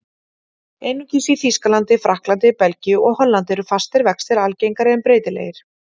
Einungis í Þýskalandi, Frakklandi, Belgíu og Hollandi eru fastir vextir algengari en breytilegir.